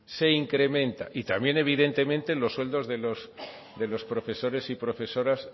se incrementa y también evidentemente los sueldos de los profesores y profesoras